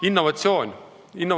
Innovatsioonist.